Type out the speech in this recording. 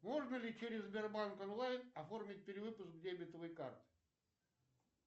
можно ли через сбербанк онлайн оформить перевыпуск дебетовой карты